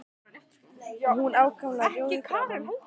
Og hún var ákaflega rjóð í framan.